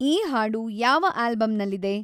ಈ ಹಾಡು ಯಾವ ಆಲ್ಬಂನಲ್ಲಿದೆ